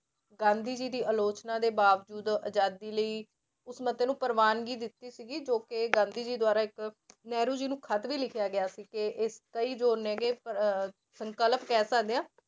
ਗਾਂਧੀ ਜੀ ਦੀ ਆਲੋਚਨਾ ਦੇ ਬਾਵਜੂਦ ਆਜ਼ਾਦੀ ਲਈ ਉਸ ਮਤੇ ਨੂੰ ਪ੍ਰਵਾਨਗੀ ਦਿੱਤੀ ਸੀਗੀ, ਜੋ ਕਿ ਗਾਂਧੀ ਜੀ ਦੁਆਰਾ ਇੱਕ ਨਹਿਰੂ ਜੀ ਨੂੰ ਖੱਤ ਵੀ ਲਿਖਿਆ ਗਿਆ ਸੀ ਕਿ ਜੋ ਨੇ ਗੇ ਅਹ ਸੰਕਲਪ ਕਹਿ ਸਕਦੇ ਹਾਂ।